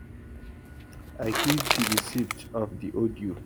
i keep di receipt of di audio